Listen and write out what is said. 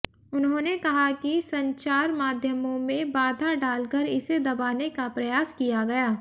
उन्होंने कहा कि संचार माध्यमों में बाधा डालकर इसे दबाने का प्रयास किया गया